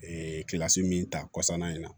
min ta kɔsana in na